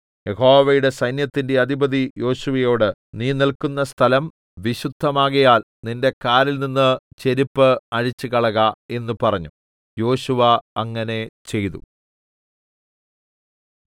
യഹോവയുടെ സൈന്യത്തിന്റെ അധിപതി യോശുവയോട് നീ നില്ക്കുന്ന സ്ഥലം വിശുദ്ധമാകയാൽ നിന്റെ കാലിൽനിന്ന് ചെരിപ്പ് അഴിച്ചു കളക എന്ന് പറഞ്ഞു യോശുവ അങ്ങനെ ചെയ്തു